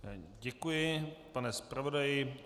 Děkuji, pane zpravodaji.